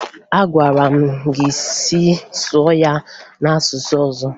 Agwara m gị sụọ ya n'asụsụ ọzọ!